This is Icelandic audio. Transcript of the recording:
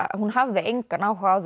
að hún hafði engan áhuga á